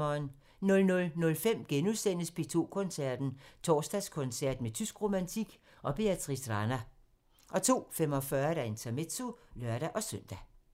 00:05: P2 Koncerten – Torsdagskoncert med tysk romantik og Beatrice Rana * 02:45: Intermezzo (lør-søn)